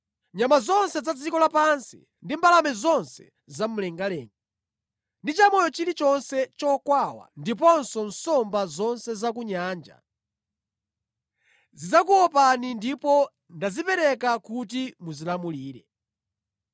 Nyama zonse za dziko lapansi, ndi mbalame zonse za mlengalenga, ndi chamoyo chilichonse chokwawa, ndiponso nsomba zonse za ku nyanja; zidzakuopani ndipo ndazipereka kuti muzilamulire.